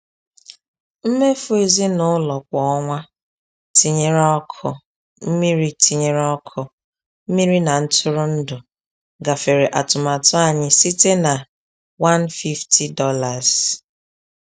Mmefu ezinụlọ kwa ọnwa, tinyere ọkụ, mmiri tinyere ọkụ, mmiri na ntụrụndụ, gafere atụmatụ anyị site na $150.